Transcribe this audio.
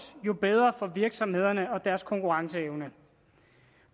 jo bedre for virksomhederne og deres konkurrenceevne